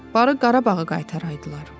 Barı Qarabağı qaytaraydılar.